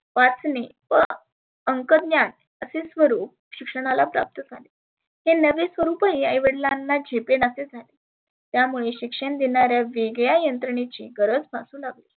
वाचने व अंकज्ञान असे स्वरुप शिक्षणाला झाले हे नवे स्वरुपही आई वडीलांना ही झेपेनासे झाले. यामुळे शिक्षण देणाऱ्या वेगळ्या यंत्रनेची गरज भासु लागली.